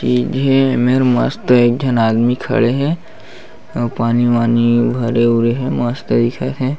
सीधे में मस्त एक झन आदमी खड़े हे आऊ पानी वानी भरे उरे हे मस्त दिखत हे।